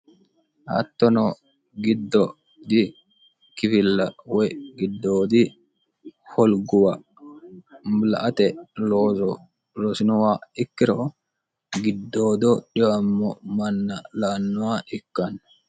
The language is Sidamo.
hattono giddo di kifilla woy giddoodi holguwa la ate loozo rosinowa ikkiro giddoodo dhiwammo manna laannowa ikkanno